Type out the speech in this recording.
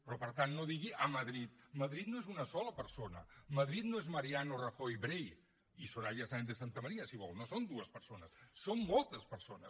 però per tant no digui a madrid madrid no és una sola persona madrid no és mariano rajoy brey i soraya sáenz de santamaría si vol no són dues persones són moltes persones